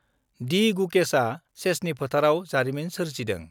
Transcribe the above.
D गुकेशआ चेसनि फोथाराव जारिमिन सोरजिदों